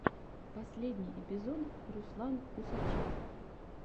последний эпизод руслан усачев